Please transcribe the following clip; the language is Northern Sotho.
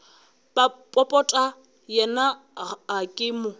popota yena ga ke mo